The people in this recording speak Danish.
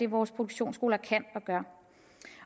vores produktionsskoler kan